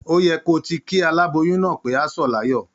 Ó y ẹ kí o ti kí aláboyún náà pé á sọ̀ láyọ̀.